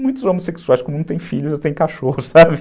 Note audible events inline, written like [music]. Muitos homossexuais, como não tem filhos, já tem [laughs] cachorro, sabe?